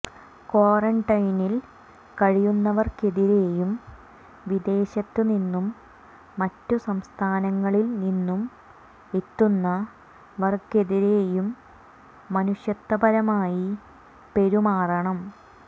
ക്വാറന്റെെനിൽ കഴിയുന്നവർക്കെതിരെയും വിദേശത്തു നിന്നും മറ്റ് സംസ്ഥാനങ്ങളിൽ നിന്നും എത്തുന്നവർക്കെതിരെയും മനുഷ്യത്തപരമായി പെരുമാറണം